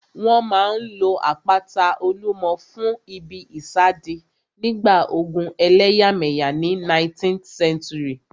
Wọ́n máa n lo àpáta Olúmọ fún ìbí ìsádi nígbà ogun ẹlẹ́yàmẹ̀yà ní 19th century